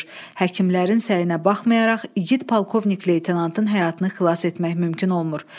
Həkimlərin səyinə baxmayaraq igid polkovnik leytenantın həyatını xilas etmək mümkün olmur.